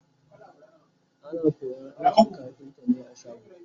ana koyan aikin kafinta ne a shago